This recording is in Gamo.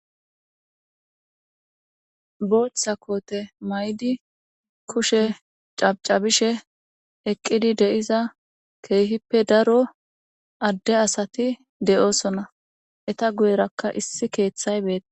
Botha kote mayidi kushe cacabishe eqidi de'iza kehipe daro adde asati de'osona eta guyerakka issi ketha betese